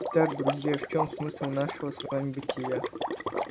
итак друзья в чём смысл нашего с вами бытия